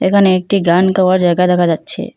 এখানে একটি গান গাওয়া জায়গা দেখা যাচ্ছে।